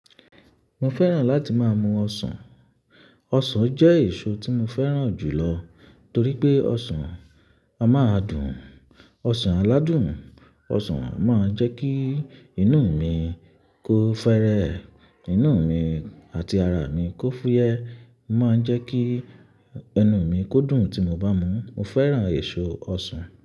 Mo fẹ́ràn láti máa mu ọsàn. Ọsàn jẹ́ èso tí mo fẹ́ràn jù lọ torí pé ọsàn a máa dùn. Ọsàn aládùn, ọsàn a máa jẹ́ kí inú mi kó fẹ́rẹ́, inú mi àti ara mi kó fúyẹ́, o máa ń jẹ́ kí ẹnu mi kó dùn tí mo bá mú. Mo fẹ́ràn èso ọsàn.